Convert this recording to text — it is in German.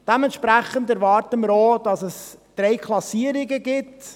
Entsprechend erwarten wir auch, dass es drei Klassierungen gibt.